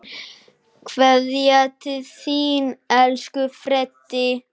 Kveðja til þín, elsku Freddi.